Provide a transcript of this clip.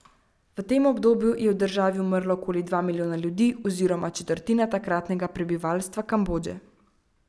V tem obdobju je v državi umrlo okoli dva milijona ljudi oziroma četrtina takratnega prebivalstva Kambodže.